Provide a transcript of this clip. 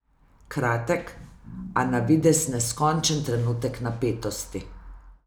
Kratek, a na videz neskončen trenutek napetosti.